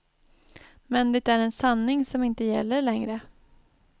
Men det är en sanning som inte gäller längre.